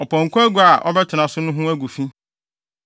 “ ‘Ɔpɔnkɔ agua biara a ɔbɛtena so no ho agu fi.